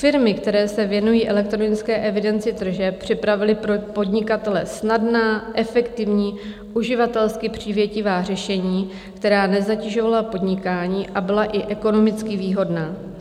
Firmy, které se věnují elektronické evidenci tržeb, připravily pro podnikatele snadná, efektivní, uživatelsky přívětivá řešení, která nezatěžovala podnikání a byla i ekonomicky výhodná.